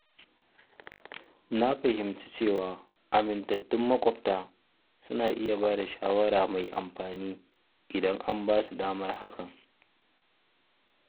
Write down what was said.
Na fahimci cewa amintattun maƙwabta suna iya bada shawara mai amfani idan an basu damar hakan.